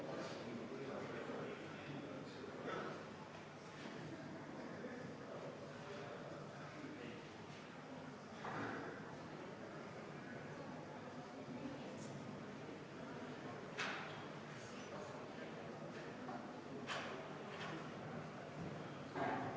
Austatud Riigikogu, panen hääletusele muudatusettepaneku nr 8, mille on esitanud Aivar Sõerd ja mille juhtivkomisjon on jätnud arvestamata.